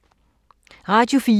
Radio 4